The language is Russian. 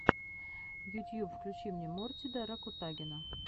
ютьюб включи мне мортида ракутагина